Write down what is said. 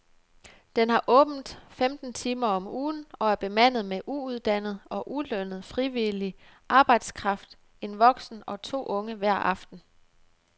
Den har åbent femten timer om ugen og er bemandet med uuddannet og ulønnet frivillig arbejdskraft, en voksen og to unge hver aften.